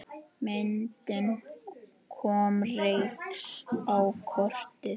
Myndin kom Rex á kortið.